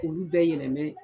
Olu bɛ yɛlɛmɛ.